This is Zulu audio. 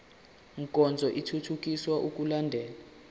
nkonzo ithuthukisa ukulandelwa